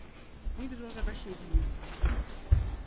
le direrwa ka šedi ye